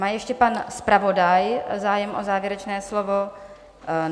Má ještě pan zpravodaj zájem o závěrečné slovo?